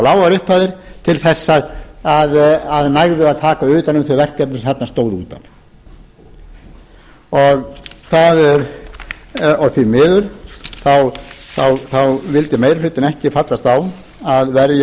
of lágar upphæðir til þess að nægðu að taka utan um þau verkefni sem þarna stóðu út af og því miður þá vildi meiri hlutinn ekki fallast á að